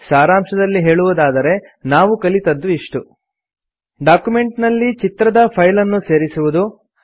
ಸಾರಾಂಶದಲ್ಲಿ ಹೇಳುವುದಾದರೆ ನಾವು ಕಲಿತದ್ದು ಇಷ್ಟು ಡಾಕ್ಯುಮೆಂಟ್ ನಲ್ಲಿ ಚಿತ್ರದ ಫೈಲ್ ಅನ್ನು ಸೇರಿಸುವುದು